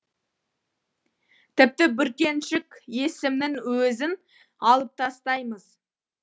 тіпті бүркеншік есімнің өзін алып тастаймыз